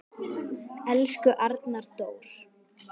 Elsku Arnar Dór.